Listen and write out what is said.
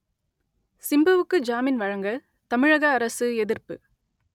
சிம்புவுக்கு ஜாமின் வழங்க தமிழக அரசு எதிர்ப்பு